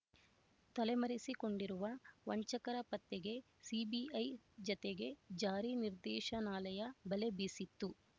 ತಲೆಮರೆಸಿಕೊಂಡಿರುವ ವಂಚಕರ ಪತ್ತೆಗೆ ಸಿಬಿಐ ಜತೆಗೆ ಜಾರಿನಿರ್ದೇಶನಾಲಯ ಬಲೆ ಬೀಸಿತ್ತು